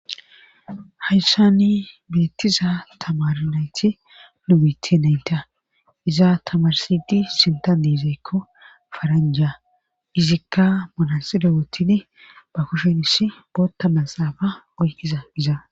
Hayssani beettiza tamar nayti nubit naynta izaa tamarsidi sinta diizeykko faranja izikka manaside woottini ba kushenis bootta masaafa oykiza iza.